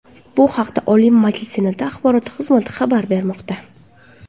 Bu haqda Oliy Majlis Senati axborot xizmati xabar bermoqda .